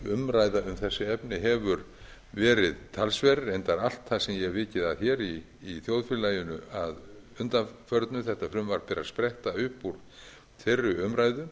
um þessi efni hefur verið talsverð reyndar allt það sem ég hef vikið að hér í þjóðfélaginu að undanförnu þetta frumvarp er að spretta upp úr þeirri umræðu